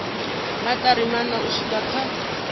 maṱari maṋa u swika kha